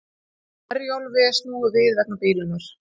Herjólfi snúið við vegna bilunar